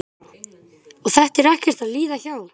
Lára: Og þetta er ekkert að líða hjá?